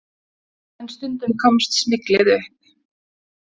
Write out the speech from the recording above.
En stundum komst smyglið upp.